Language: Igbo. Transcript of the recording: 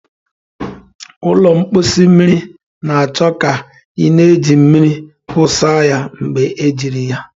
Ụlọ mposi mmiri na-achọ ka ị na-eji mmiri wụsa ya mgbe ejiri ya.